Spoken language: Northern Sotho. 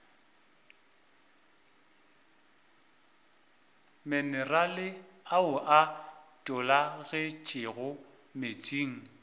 minerale ao a tologetšego meetseng